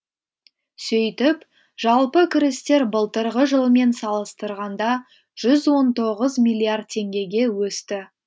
сөйтіп жалпы кірістер былтырғы жылмен салыстырғанда жүз он тоғыз миллиард теңгеге өсті